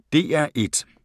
DR1